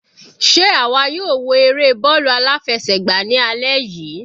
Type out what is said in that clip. Sé àwa yóò wo eré bọ́ọ̀lù aláfẹsẹ̀gbá ní alẹ́ yìí?